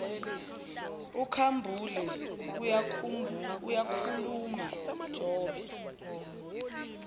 ukhambule uyakhuluma jobe